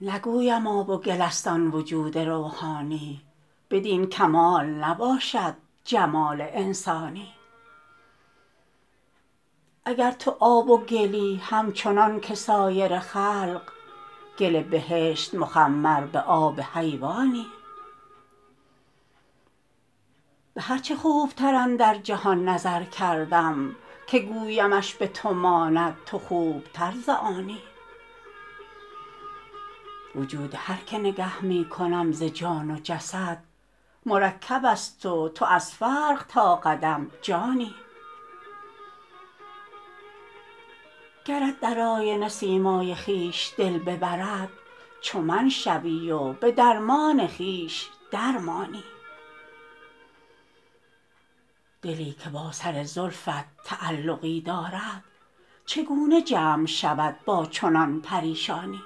نگویم آب و گل است آن وجود روحانی بدین کمال نباشد جمال انسانی اگر تو آب و گلی همچنان که سایر خلق گل بهشت مخمر به آب حیوانی به هر چه خوبتر اندر جهان نظر کردم که گویمش به تو ماند تو خوبتر ز آنی وجود هر که نگه می کنم ز جان و جسد مرکب است و تو از فرق تا قدم جانی گرت در آینه سیمای خویش دل ببرد چو من شوی و به درمان خویش در مانی دلی که با سر زلفت تعلقی دارد چگونه جمع شود با چنان پریشانی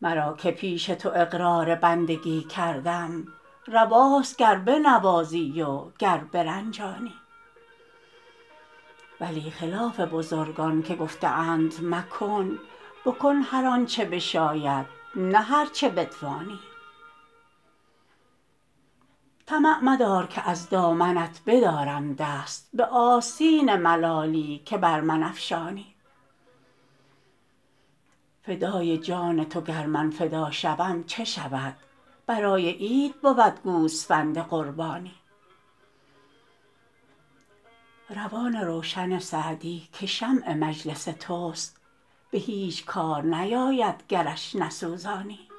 مرا که پیش تو اقرار بندگی کردم رواست گر بنوازی و گر برنجانی ولی خلاف بزرگان که گفته اند مکن بکن هر آن چه بشاید نه هر چه بتوانی طمع مدار که از دامنت بدارم دست به آستین ملالی که بر من افشانی فدای جان تو گر من فدا شوم چه شود برای عید بود گوسفند قربانی روان روشن سعدی که شمع مجلس توست به هیچ کار نیاید گرش نسوزانی